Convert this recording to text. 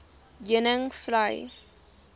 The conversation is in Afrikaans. heuningvlei